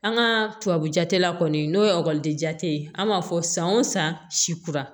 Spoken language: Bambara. An ka tubabu jate la kɔni n'o ye ekɔliden ye an b'a fɔ san o san si kura